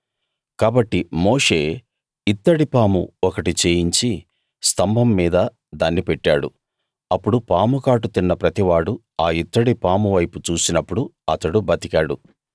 కాబట్టి మోషే ఇత్తడి పాము ఒకటి చేయించి స్థంభం మీద దాన్ని పెట్టాడు అప్పుడు పాము కాటు తిన్న ప్రతివాడూ ఆ ఇత్తడి పాము వైపు చూసినప్పుడు అతడు బతికాడు